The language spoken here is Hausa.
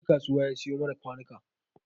Wa ya je kasuwar ya siyo mana kwanuka?